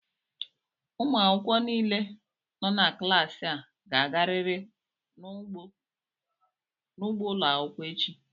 Ụmụ akwụkwọ niile nọ na klaasị a ga-agarịrị n'ugbo ụlọ akwụkwọ echi!